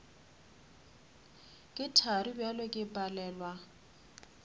ke thari bjale ke palelwa